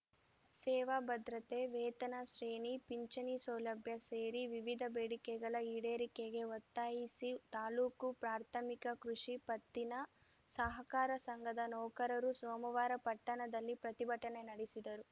ಸೇವಾ ಭದ್ರತೆ ವೇತನ ಶ್ರೇಣಿ ಪಿಂಚಣಿ ಸೌಲಭ್ಯ ಸೇರಿ ವಿವಿಧ ಬೇಡಿಕೆಗಳ ಈಡೇರಿಕೆಗೆ ಒತ್ತಾಯಿಸಿ ತಾಲೂಕು ಪ್ರಾಥಮಿಕ ಕೃಷಿ ಪತ್ತಿನ ಸಹಕಾರ ಸಂಘದ ನೌಕರರು ಸೋಮವಾರ ಪಟ್ಟಣದಲ್ಲಿ ಪ್ರತಿಭಟನೆ ನಡೆಸಿದರು